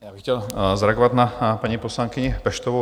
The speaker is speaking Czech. Já bych chtěl zareagovat na paní poslankyni Peštovou.